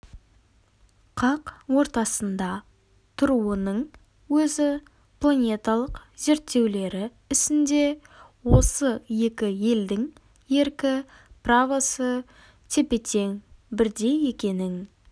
қақ ортасында тұруының өзі планеталық зерттеулері ісінде осы екі елдің еркі правосы тепе-тең бірдей екенін